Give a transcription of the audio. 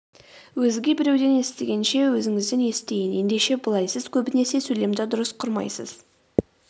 өзге біреуден естігенше өзіңізден естиін ендеше былай сіз көбінесе сөйлемді дұрыс құрмайсыз